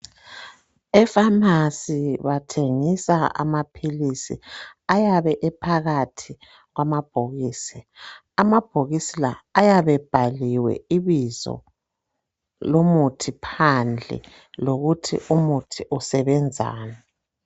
Emakhemisi bathengisa amaphilisi ayabe ephakathi kwamabhokisi. Amabhokisi la ayabe ebhaliwe ibizo lomuthi phandle lokuthi umuthi usebenzani.